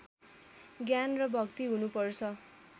ज्ञान र भक्ति हुनुपर्छ